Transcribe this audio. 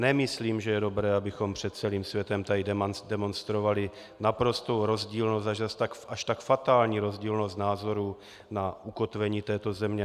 Nemyslím, že je dobré, abychom před celým světem tady demonstrovali naprostou rozdílnost, až tak fatální rozdílnost názorů na ukotvení této země.